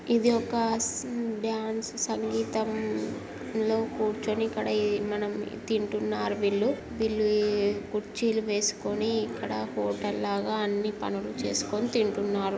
ఇది ఒక డాన్స్ సంగీతం లో కూర్చొని ఇక్కడ మనం తింటునరు వీళ్లు. వీళ్లు ఈ కుర్చీలు వేసకొని ఇక్కడ హోటల్ లాగా అన్నీ పనులు చేస్కొని తింటునరు.